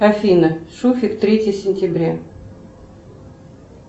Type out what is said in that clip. афина шуфик третье сентября